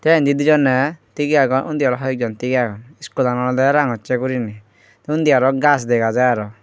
te indi dijoney tigye agon undi aro hoyekjon tigey agon iskulan olodey rangossey guriney te undi gajch dega jai aro.